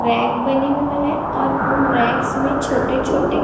rack बने हुए हैं और उन रैक्स में छोटे छोटे--